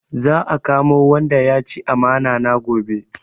Za a kamo wanda ya ci amana na gobe